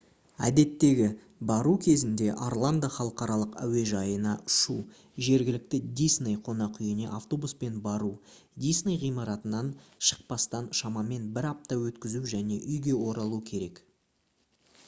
«әдеттегі» бару кезінде орландо халықаралық әуежайына ұшу жергілікті дисней қонақүйіне автобуспен бару дисней ғимаратынан шықпастан шамамен бір апта өткізу және үйге оралу керек